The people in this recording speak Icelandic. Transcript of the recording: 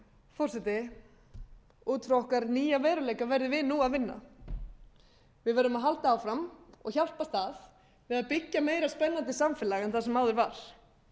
forseti út frá okkar nýja veruleika verðum við nú að vinna við verðum að halda áfram og hjálpast að við að byggja meira spennandi samfélag en það sem áður var